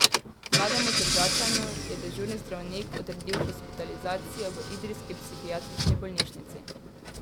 Mlademu Tržačanu je dežurni zdravnik odredil hospitalizacijo v idrijski psihiatrični bolnišnici.